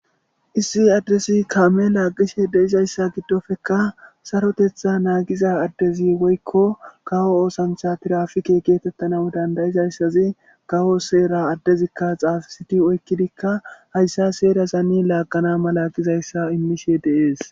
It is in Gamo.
Issi adddesi kaame laaggishe deizayssa giddofeka sarotetha naagiza addezi woykko kawo oosancha tirafike geetettana dandayizayssazi kawo seera addezikka xaafisiti oykkidikka hayssa seera zani laaqana malaqizayssa immishe deees.